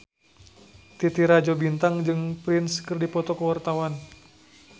Titi Rajo Bintang jeung Prince keur dipoto ku wartawan